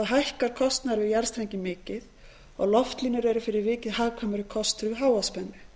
hækkar kostnaður við jarðstrengi mikið og loftlínur eru fyrir vikið hagkvæmari kostur við háa spennu